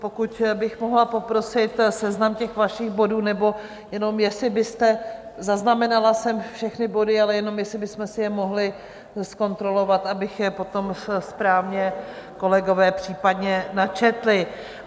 Pokud bych mohla poprosit seznam těch vašich bodů, nebo jenom jestli byste, zaznamenala jsem všechny body, ale jenom jestli bychom si je mohli zkontrolovat, aby je potom správně kolegové případně načetli.